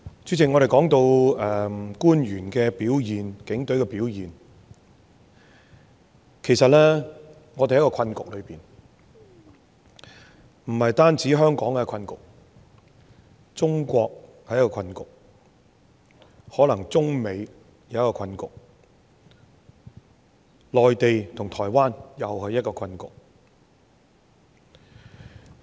主席，我們說到官員和警隊的表現，其實我們處於一個困局，不單是香港的困局，中國也是一個困局，可能中美是另一個困局，而內地與台灣又是另一個困局。